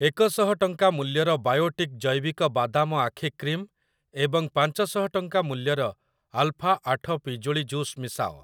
ଏକ ଶହ ଟଙ୍କା ମୂଲ୍ୟର ବାୟୋଟିକ୍ ଜୈବିକ ବାଦାମ ଆଖି କ୍ରିମ୍ ଏବଂ ପାଞ୍ଚ ଶହ ଟଙ୍କା ମୂଲ୍ୟର ଆଲଫା ଆଠ ପିଜୁଳି ଜୁସ୍ ମିଶାଅ ।